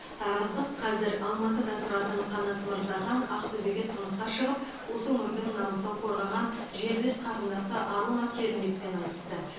тараздық қазір алматыда тұратын қанат мырзахан ақтөбеге тұрмысқа шығып осы өңірдің намысын қорғаған жерлес қарындасы аруна керімбекпен айтысты